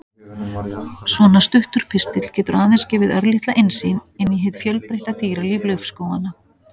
Svona stuttur pistill getur aðeins gefið örlitla innsýn inn í hið fjölbreytta dýralíf laufskóganna.